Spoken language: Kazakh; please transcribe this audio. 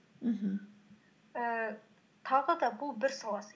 мхм ііі тағы да бұл бір саласы